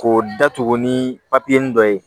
K'o datugu ni dɔ ye